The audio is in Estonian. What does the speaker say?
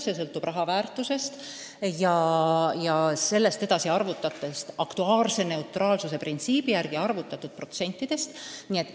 Palju sõltub raha väärtusest ja sellest edasi aktuaarse neutraalsuse printsiibi järgi arvutatud protsentidest.